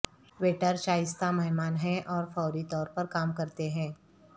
waiter شائستہ مہمان ہیں اور فوری طور پر کام کرتے ہیں